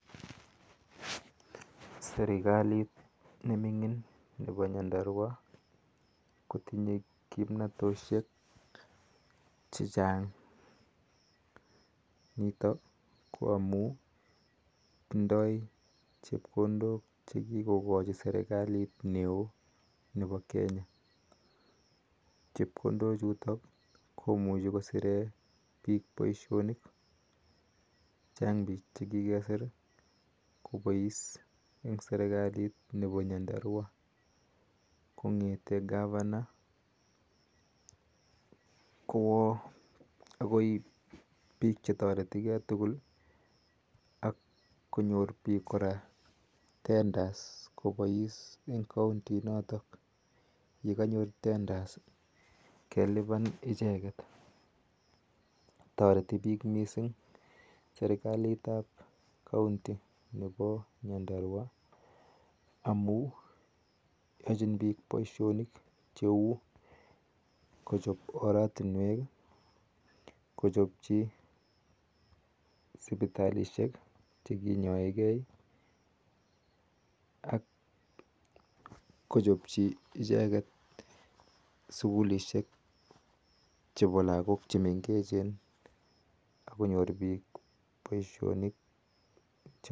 Sirikaliit nemingiin nepo nyandarua kotinyeee kimnatosheek chechaang nitok ko amun tindoii chepkondok chechaang chepkondoo chhutok komuchii kokachii piik kongetee kavana akoi piik chetarigee tuguul taritii piik mussing amun achiin piik paishonik koouu oratunweek sukulisheeek akonyor piik poishonik